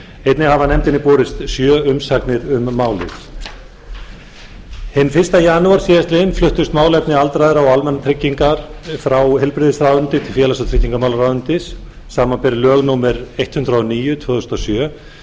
einnig hafa nefndinni borist sjö umsagnir um málið hinn fyrsta janúar síðastliðnum fluttust málefni aldraðra og almannatryggingar frá heilbrigðisráðuneyti til félags og tryggingamálaráðuneytis samanber lög númer hundrað og níu tvö þúsund og sjö